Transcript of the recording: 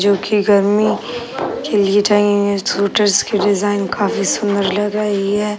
जो की गर्मी के लिए चाहिए स्वेटर्स के डिजाइन काफी सुन्दर लग रही हैं।